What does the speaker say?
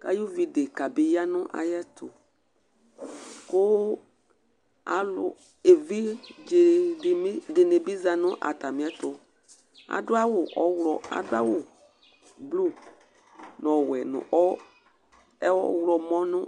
kʋ ay'ʋvi deka bi ya nʋ ayɛtʋ kʋ evidze dìní bi za nʋ atami ɛtu Adu awu blʋu nʋ ɔwɛ nʋ ɔwlɔmɔ